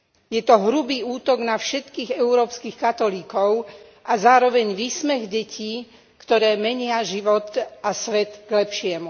Je to hrubý útok na všetkých európskych katolíkov a zároveň výsmech detí, ktoré menia život a svet k lepšiemu.